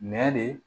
Nɛ de